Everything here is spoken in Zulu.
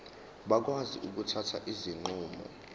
bakwazi ukuthatha izinqumo